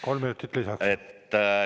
Kolm minutit lisaks.